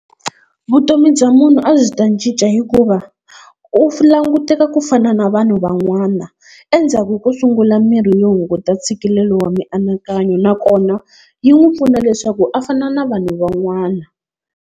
Vutomi bya munhu a byi ta cinca hikuva u languteka ku fana na vanhu van'wana, endzhaku ko sungula mirhi yo hunguta ntshikelelo wa mianakanyo, nakona yi n'wi pfuna leswaku a fana na vanhu van'wana.